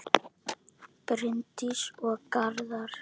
Bryndís og Garðar.